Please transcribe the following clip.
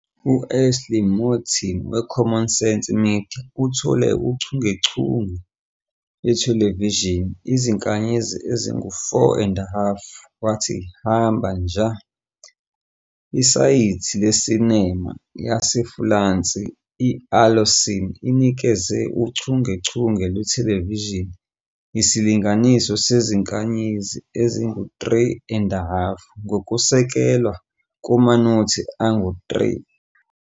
U-Ashley Moulton we-Common Sense Media uthole uchungechunge lwethelevishini izinkanyezi ezingu-4 and a half wathi Hamba, Nja. Isayithi lesinema yesi-Fulansi i-AlloCiné inikeze uchungechunge lwethelevishini isilinganiso sezinkanyezi ezingu-3 and a half ngokusekelwe kumanothi angu-3.